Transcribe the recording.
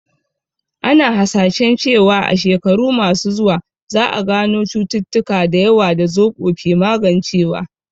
Ana hasashen cewa a shekaru masu zuwa, za a gano cututtuka da yawa da zoɓo ke magancewa